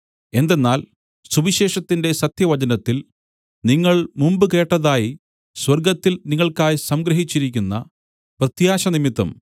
എന്തെന്നാൽ സുവിശേഷത്തിന്റെ സത്യവചനത്തിൽ നിങ്ങൾ മുമ്പ് കേട്ടതായി സ്വർഗ്ഗത്തിൽ നിങ്ങൾക്കായി സംഗ്രഹിച്ചിരിക്കുന്ന പ്രത്യാശ നിമിത്തം